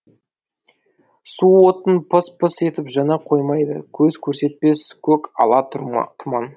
су отын пыс пыс етіп жана қоймайды көз көрсетпес көк ала тұман